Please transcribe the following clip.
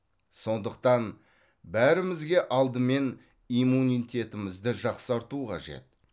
сондықтан бәрімізге алдымен иммунитетімізді жақсарту қажет